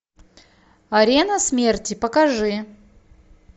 арена смерти покажи